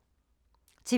TV 2